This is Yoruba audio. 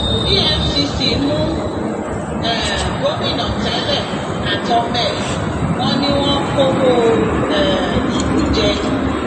efcc mú um gómìnà tẹlẹ àtọmọ ẹ wọn ni wọn kọwọ um ìlú jẹ